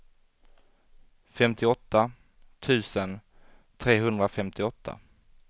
femtioåtta tusen trehundrafemtioåtta